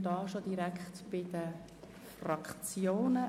Somit kommen wir zu den Fraktionen.